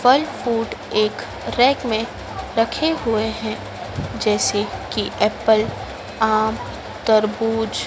फल फुड एक रेक में रखे हुए हैं जैसे कि एप्पल आम तरबूज--